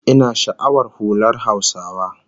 Ina sha'awar hular Hausawa